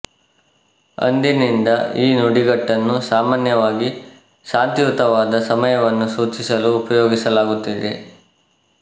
ಅಂದಿನಿಂದ ಈ ನುಡಿಗಟ್ಟನ್ನು ಸಾಮಾನ್ಯವಾಗಿ ಶಾಂತಿಯುತವಾದ ಸಮಯವನ್ನು ಸೂಚಿಸಲು ಉಪಯೋಗಿಸಲಾಗುತ್ತಿದೆ